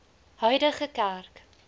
huidige kerk